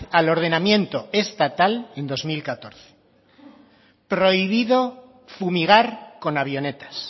al ordenamiento estatal en dos mil catorce prohibido fumigar con avionetas